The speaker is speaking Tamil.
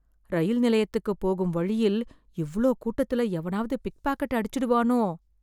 ரயில் நிலையத்துக்கு போகும் வழியில், இவ்ளோ கூட்டத்துல, எவனாவது பிக்பாக்கெட் அடிச்சுடுவானோ.